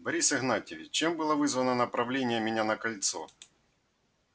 борис игнатьевич чем было вызвано направление меня на кольцо